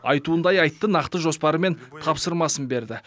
айтуындай айтты нақты жоспары мен тапсырмасын берді